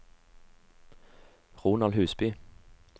Ronald Husby